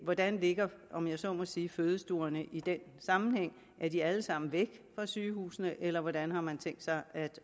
hvordan ligger om jeg så må sige fødestuerne i den sammenhæng er de alle sammen væk fra sygehusene eller hvordan har man tænkt sig at